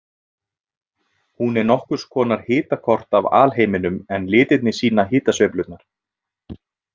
Hún er nokkurs konar hitakort af alheiminum en litirnir sýna hitasveiflurnar.